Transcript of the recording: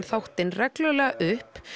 þáttinn reglulega upp